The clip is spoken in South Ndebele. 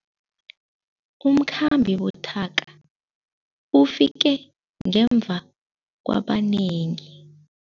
Umkhambi buthaka ufike ngemva kwabanengi.